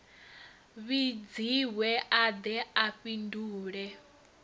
vhidziwe a de a fhindule